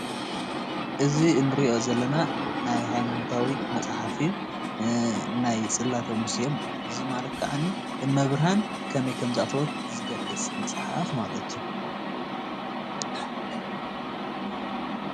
እዚ እንሪኦ ዘለና ምስሊ ሃይማኖታዊ መፅሓፍ እዩ። ናይ ፅለተ ሙሴ ማለት እዩ። እዙይ ማለት ከዓ አመብርሃን ከመይ ከም ዝኣተወት ዝገልፅ መፅሓፍ ማለት እዩ።